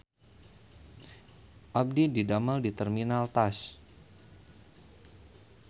Abdi didamel di Terminal Tas